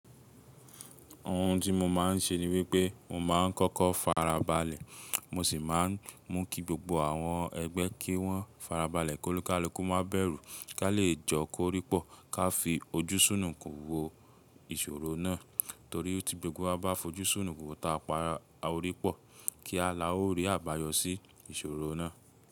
Ohun tí mo máa ń ṣe ni wípé mo máa ń kọ́kọ́ farabalẹ̀, mo sì máa ń mú kí gbogbo àwọn ẹgbẹ́ kí wọ́n farabalẹ̀ kólukálukú má bẹ̀rù kí a lè jọ kóripọ̀ ká fi ojúṣúnùnkun wo ìṣòro náà torí tí gbogbo wa bá fojúṣúnùnkun wo táa pa á ó ripọ̀ kí a la ó rí àbáyọ sí ìṣòro náà.